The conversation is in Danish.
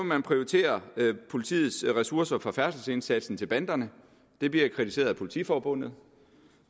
man prioritere politiets ressourcer fra færdselsindsatsen til banderne det bliver kritiseret af politiforbundet